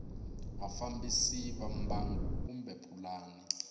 vafambisi va mbangu kumbe pulani